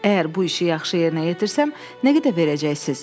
Əgər bu işi yaxşı yerinə yetirsəm, nə qədər verəcəksiz?